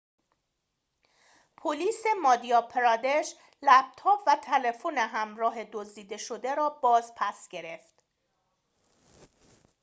پلیس مادیا پرادش لپتاب و تلفن همراه دزده شده را باز پس گرفت